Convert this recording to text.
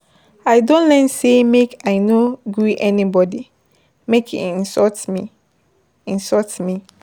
I don learn sey make I no gree anybody make e insult me. insult me.